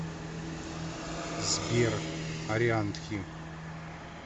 сбер орианти